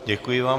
Děkuji vám.